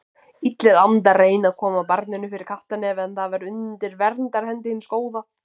Illir andar reyndu að koma barninu fyrir kattarnef en það var undir verndarhendi hins góða.